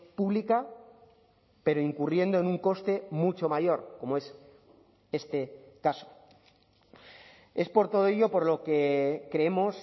pública pero incurriendo en un coste mucho mayor como es este caso es por todo ello por lo que creemos